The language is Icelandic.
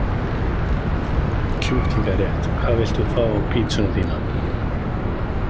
Kjúklinga rétt Hvað vilt þú fá á pizzuna þína?